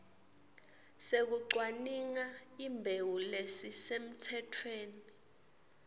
sekucwaninga imbewu lesisemtsetfweni